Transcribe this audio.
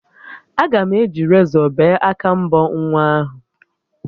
Aga m eji rezọ bee aka mbọ nwa ahụ